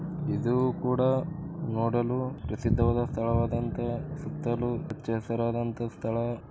ಇದು ಕೂಡ ನೋಡಲು ಪ್ರಸಿದ್ಧವಾದ ಸ್ಥಳವಾದಂತಹ ಸುತ್ತಲೂ ಹಚ್ಚು ಹಸಿರಾದಂತಹ ಸ್ಥಳ.